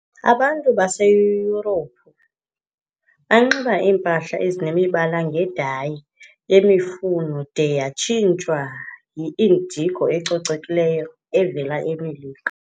Abantu baseYurophu banxiba iimpahla ezinemibala ngedayi yemifuno de yatshintshwa yi-indigo ecolekileyo evela eMelika.